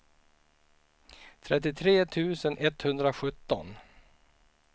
trettiotre tusen etthundrasjutton